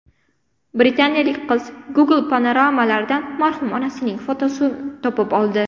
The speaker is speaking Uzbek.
Britaniyalik qiz Google panoramalaridan marhum onasining fotosini topib oldi.